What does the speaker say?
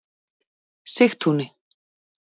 Sigtúni